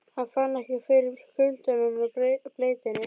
Hann fann ekki fyrir kuldanum og bleytunni.